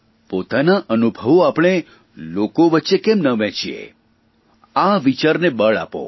પોતાના અનુભવો આપણે લોકો વચ્ચે કેમ ના વહેંચીએ આ વિચારને બળ આપો